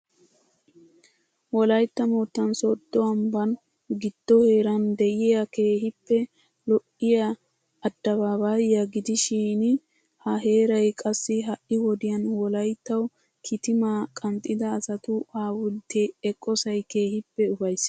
Wolaytta moottan sodo ambban giddo heerana de'iya keehippe lo'iya adabaabaya gidishiin ha heeray qassi ha'i wodiyan wolayttawu kitimaa qanxxida asatu hawulttee eqqosay keehippe ufayssees.